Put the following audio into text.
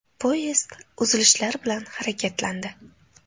Poyezd uzilishlar bilan harakatlandi.